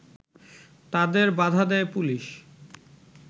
তাদের বাধা দেয় পুলিশ